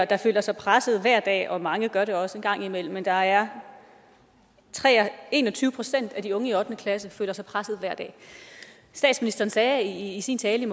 der føler sig presset hver dag og mange gør det også en gang imellem men der er en og tyve procent af de unge i ottende klasse der føler sig presset hver dag statsministeren sagde i sin tale i